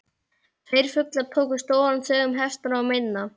Tveir fuglar tóku stóran sveig um hestana og mennina.